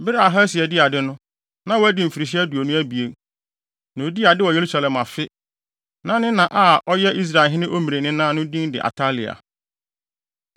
Bere a Ahasia dii ade no, na wadi mfirihyia aduonu abien, na odii ade wɔ Yerusalem afe. Na ne na a ɔyɛ Israelhene Omri nena no din de Atalia.